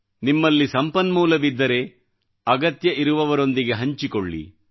ನಿಮ್ಮಲ್ಲಿ ಸಂಪನ್ಮೂಲವಿದ್ದರೆ ಅವಶ್ಯಕತೆಯಿರುವವರೊಂದಿಗೆ ಹಂಚಿಕೊಳ್ಳಿ